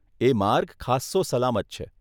એ માર્ગ ખાસ્સો સલામત છે.